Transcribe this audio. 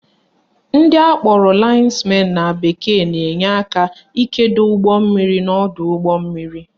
Ndị akpọrọ lines men na bekee na-enye aka ikedo ugbommiri n'ọdọụgbọmmiri